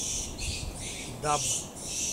даб